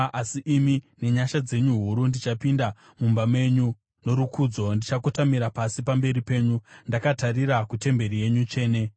Asi ini, nenyasha dzenyu huru, ndichapinda mumba menyu; norukudzo, ndichakotamira pasi pamberi penyu, ndakatarira kutemberi yenyu tsvene.